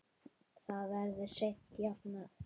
Það verður seint jafnað.